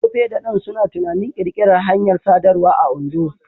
Tope da Dan suna tunanin ƙirƙirar hanyar sadarwa a Ondo.